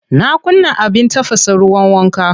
Na kunna abin tafasa ruwan wanka.